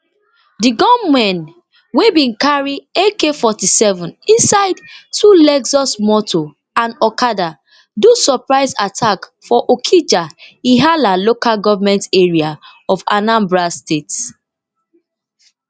di gunmen wey bin carry akforty-seven inside two lexus motor and okada do surprise attack for okija ihiala local goment area of anambra state